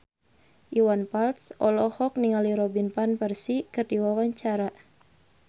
Iwan Fals olohok ningali Robin Van Persie keur diwawancara